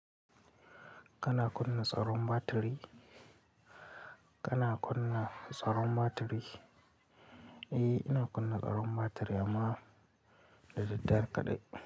Kana kunna tsaron batiri? Kana kunna tsaron batiri? Eh, ina kunna tsaron batiri amma da daddare kaɗai.